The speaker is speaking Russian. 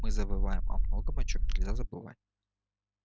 мы забываем о многом о чем нельзя забывать